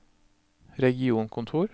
regionkontor